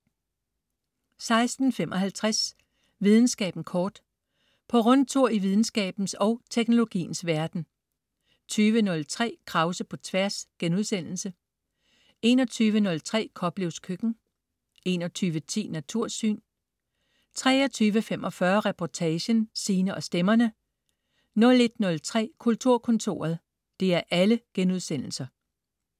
16.55 Videnskaben kort. På rundtur i videnskabens og teknologiens verden 20.03 Krause på Tværs* 21.03 Koplevs Køkken* 21.10 Natursyn* 23.45 Reportagen: Sine og stemmerne* 01.03 Kulturkontoret*